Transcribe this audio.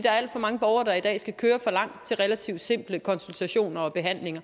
er alt for mange borgere der i dag skal køre for langt til relativt simple konsultationer og behandlinger